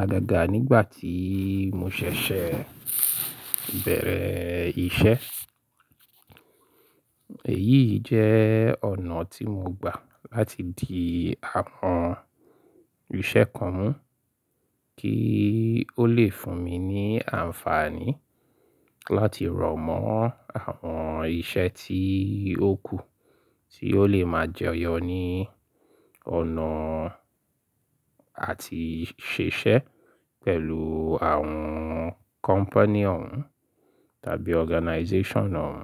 agagaa nígbà tí mo ṣẹ̀ṣẹ̀ bẹ̀rẹ̀ iṣẹ́. Èyí jẹ́ ọ̀nà tí mo gbà láti di àwọn iṣẹ́ kan mú kí ó lè fún mi ní àǹfààní láti rọ̀mọ́ àwọn iṣẹ́ tí ó kù tí yóò lè máa jẹyọ ní ọ̀nà àti ṣiṣẹ́ pẹ̀lú àwọn company ọ̀ún tàbí organization ọ̀ún.